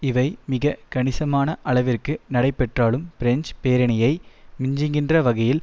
இவை மிக கணிசமான அளவிற்கு நடைபெற்றாலும் பிரெஞ்சு பேரணியை மிஞ்சுகின்ற வகையில்